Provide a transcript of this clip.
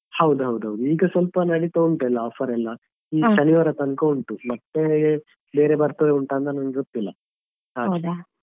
ಹೌದು ಹೌದು ಹೌದು ಈಗ ಸ್ವಲ್ಪ ನಡಿತಾ ಉಂಟೆಲ್ಲ offer ಎಲ್ಲ ಈ ಶನಿವಾರ ತನಕ ಉಂಟು ಮತ್ತೆ ಬೇರೆ ಬರ್ತದ ಎಂತ ಅಂತ ನನ್ಗೆ ಗೊತಿಲ್ಲಾ .